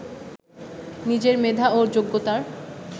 নিজের মেধা ও যোগ্যতার